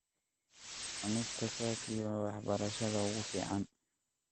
Cunista khaki waa waxbarashada ugu fiican.